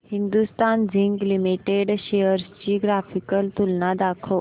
Hindustan zinc limited shares ची graphical तुलना दाखव